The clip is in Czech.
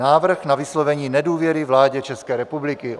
Návrh na vyslovení nedůvěry vládě České republiky